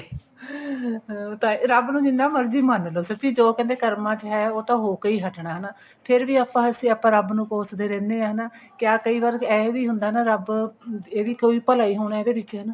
ਉਹ ਤਾਂ ਰੱਬ ਨੂੰ ਜਿੰਨਾ ਮਰਜ਼ੀ ਮੰਨਲੋ ਸੱਚੀ ਜੋ ਕਰਮਾ ਚ ਹੈ ਉਹ ਤਾਂ ਹੋ ਕੇ ਹੀ ਹਟਨਾ ਫ਼ੇਰ ਵੀ ਆਪਾਂ ਵੈਸੇ ਰੱਬ ਨੂੰ ਕੋਸਦੇ ਰਹਿੰਦੇ ਹਾਂ ਕਿਆ ਕਈ ਵਾਰ ਏਵੇਂ ਵੀ ਹੁੰਦਾ ਰੱਬ ਇਹ ਵੀ ਕੋਈ ਭਲਾ ਹੀ ਹੋਣਾ ਇਹਦੇ ਵਿੱਚ ਹਨਾ